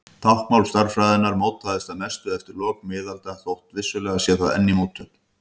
Táknmál stærðfræðinnar mótaðist að mestu eftir lok miðalda þótt vissulega sé það enn í mótun.